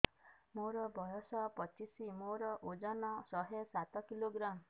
ମୋର ବୟସ ପଚିଶି ମୋର ଓଜନ ଶହେ ସାତ କିଲୋଗ୍ରାମ